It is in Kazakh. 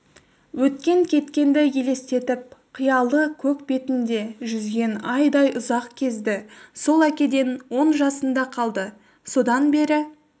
өткен-кеткенді елестетіп қиялы көк бетінде жүзген айдай ұзақ кезді сол әкеден он жасында қалды содан бері